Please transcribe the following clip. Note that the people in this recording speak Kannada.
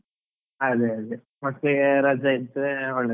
ಅದೇ ಅದೇ, ಮತ್ತೆ ರಾಜಾ ಇತ್ತು ಒಳ್ಳೇದು.